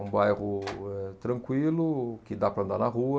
É um bairro eh tranquilo, que dá para andar na rua.